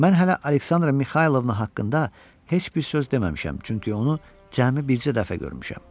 Mən hələ Aleksandra Mixaylovna haqqında heç bir söz deməmişəm, çünki onu cəmi bircə dəfə görmüşəm.